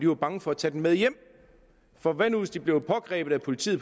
var bange for at tage den med hjem for hvad nu hvis de blev pågrebet af politiet